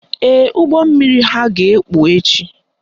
Ee, ụgbọmmiri ha ga-ekpu echi